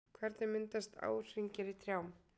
Hvernig myndast árhringir í trjám?